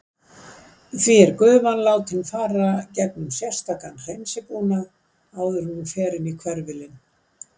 Því er gufan látin fara gegnum sérstakan hreinsibúnað áður en hún fer inn á hverfilinn.